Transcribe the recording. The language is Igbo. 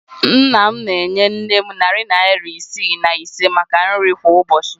Nna m na-enye nne m narị naịra isii na iri ise maka nri kwa ụbọchị.